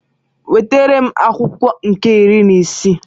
Wetara m akwụkwọ nke iri n'isii.